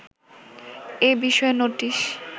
এ বিষয়ে নোটিশ